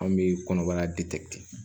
An bɛ kɔnɔbara